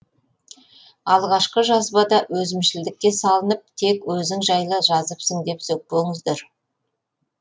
алғашқы жазбада өзімшілдікке салынып тек өзің жайлы жазыпсың деп сөкпеңіздер